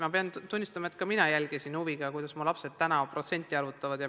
Ma pean tunnistama, et ka mina jälgisin huviga, kuidas mu lapsed praegusel ajal protsenti arvutavad.